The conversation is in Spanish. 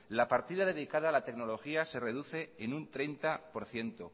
la partida dedicada a la tecnología se reduce en un treinta por ciento